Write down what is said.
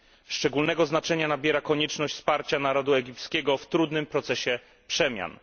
Szczególnego znaczenia nabiera konieczność wsparcia narodu egipskiego w trudnym procesie przemian.